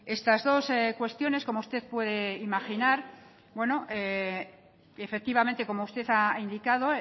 estas dos cuestiones como usted puede imaginar y efectivamente como usted ha indicado